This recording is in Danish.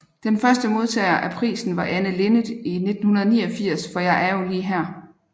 Den første modtager af prisen var Anne Linnet i 1989 for Jeg er jo lige her